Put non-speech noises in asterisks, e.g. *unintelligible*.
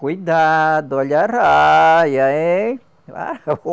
Cuidado, olha a arraia, hein? *unintelligible*